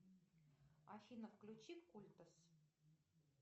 афина включи культас